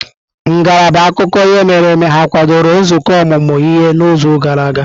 Ngalaba akụkọ ihe mere eme ha kwadoro nzukọ ọmụmụ ihe n'izu gara aga?